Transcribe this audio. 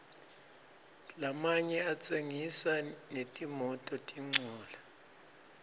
lamanye atsengisa netimototincola